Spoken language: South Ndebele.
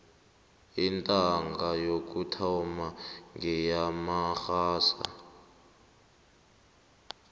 intanga yokuthoma ngeyamarhasa